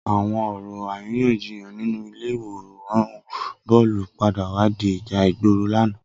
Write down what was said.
Awọn ọrọ àrínyànjíyán ninú ilé iwórân bọlú pàdá wà di ijà igbóró làná